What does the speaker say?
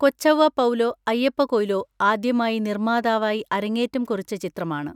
കൊച്ചൗവ പൗലോ അയ്യപ്പ കൊയ്ലോ ആദ്യമായി നിർമ്മാതാവായി അരങ്ങേറ്റം കുറിച്ച ചിത്രമാണ്.